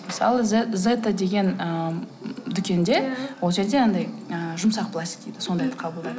мысалы зета деген ы м дүкенде иә ол жерде анадай ыыы жұмсақ пластик дейді сондайды қабылдайды